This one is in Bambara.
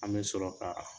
An bɛ sɔrɔ ka